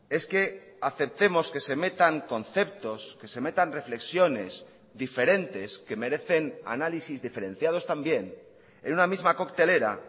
es que aceptemos que se metan conceptos que se metan reflexiones diferentes que merecen análisis diferenciados también en una misma coctelera